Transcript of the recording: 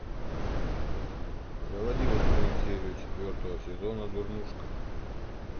заводи восьмую серию четвертого сезона дурнушка